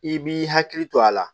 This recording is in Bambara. I b'i hakili to a la